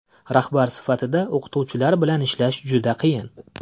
Rahbar sifatida o‘qituvchilar bilan ishlash juda qiyin.